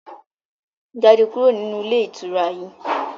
Jáde kúrò nínú ilé ìtura yìí!